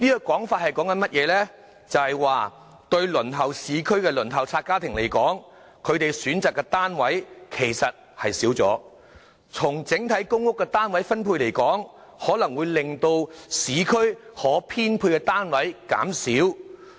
換言之，對輪候市區單位的輪候冊家庭來說，他們可選擇的單位其實減少了；從整體公屋單位分布來看，可能會令市區可編配的單位減少。